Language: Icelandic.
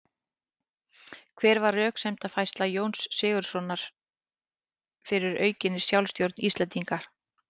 Hver var röksemdafærsla Jóns Sigurðssonar fyrir aukinni sjálfstjórn Íslendinga?